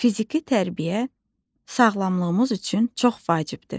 Fiziki tərbiyə sağlamlığımız üçün çox vacibdir.